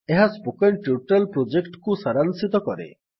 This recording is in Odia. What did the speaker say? ଏହା ସ୍ପୋକେନ୍ ଟ୍ୟୁଟୋରିଆଲ୍ ପ୍ରୋଜେକ୍ଟକୁ ସାରାଂଶିତ କରେ